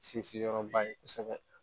Sinsinyɔrɔba ye kosɛbɛ